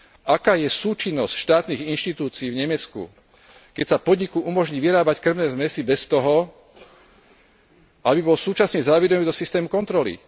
Aká je súčinnosť štátnych inštitúcií v Nemecku, keď sa podniku umožní vyrábať kŕmne zmesi bez toho, aby bol súčasne zaevidovaný do systému kontroly?